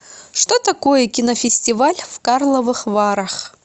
что такое кинофестиваль в карловых варах